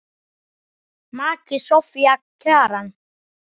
Maki Soffía Kjaran.